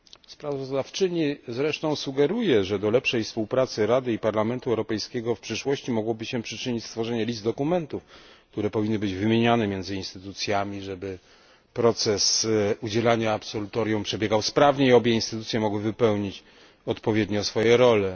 Sprawozdawczyni zresztą sugeruje, że do lepszej współpracy Rady i Parlamentu Europejskiego w przyszłości mogłoby się przyczynić listy dokumentów, które powinny być wymieniane pomiędzy instytucjami, aby proces udzielania absolutorium przebiegał sprawniej i obie instytucje mogły odpowiednio wypełnić swoje role.